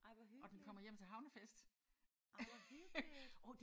Ej hvor hyggeligt. Ej hvor hyggeligt!